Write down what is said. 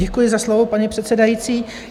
Děkuji za slovo, paní předsedající.